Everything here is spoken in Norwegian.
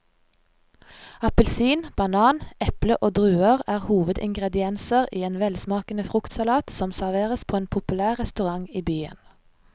Appelsin, banan, eple og druer er hovedingredienser i en velsmakende fruktsalat som serveres på en populær restaurant i byen.